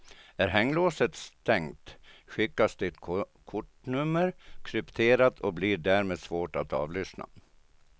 Är hänglåset stängt skickas ditt kortnummer krypterat och blir därmed svårt att avlyssna.